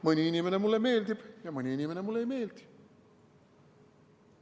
Mõni inimene mulle meeldib ja mõni inimene mulle ei meeldi.